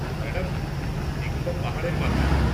Madam, এখানটা পাহাড়ের মাথায়।